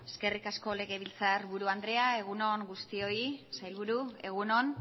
eskerrik asko legebiltzarburu andrea egun on guztioi sailburu egun on